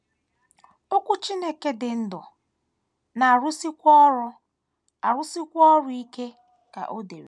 “ Okwu Chineke dị ndụ, na - arụsikwa ọrụ arụsikwa ọrụ ike, ” ka o dere.